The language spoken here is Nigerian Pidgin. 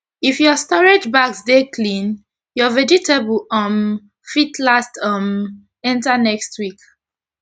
if ur storage bags dey clean ur vegetable um fit last um enta next week